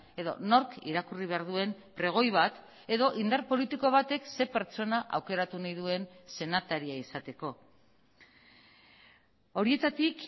edo nork irakurri behar duen pregoi bat edo indar politiko batek ze pertsona aukeratu nahi duen senataria izateko horietatik